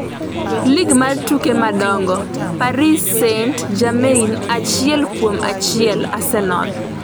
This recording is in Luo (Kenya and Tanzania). lig mar tuke madongo: Paris St-Germain achiel kuom achiel Arsenal